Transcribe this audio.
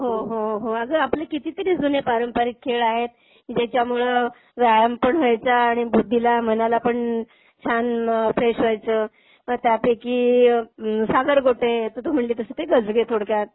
हो, हो, हो, हो. अगं आपले कितीतरी जूने पारंपरिक खेळ आहेत की ज्याच्यामुळे व्यायाम पण व्हायचा आणि बुद्धीला, मनाला पण छान फ्रेश व्हायचं. म त्यापैकी सागरगोटे, आता तू म्हणाली तसं ते गजगे थोडक्यात.